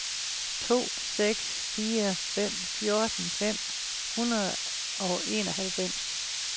to seks fire fem fjorten fem hundrede og enoghalvfems